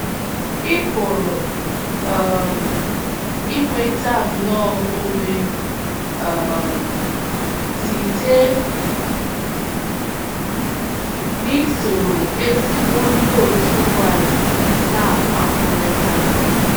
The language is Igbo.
Ị pụrụ um inweta nnọọ ume um site n’isoro ezigbo ndị otu Kraịst na-akpakọrịta.